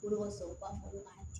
Boloko cɛ u b'a fɔ ko